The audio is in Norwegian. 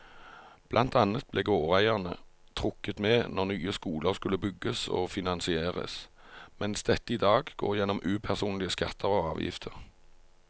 Blant annet ble gårdeierne trukket med når nye skoler skulle bygges og finansieres, mens dette i dag går gjennom upersonlige skatter og avgifter.